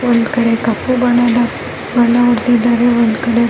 ಇಲ್ಲಿ ನಾನು ನೋಡುತ್ತಿರುವ ಒಂದು ಬಿಲ್ಡಿಂಗನಲ್ಲಿ --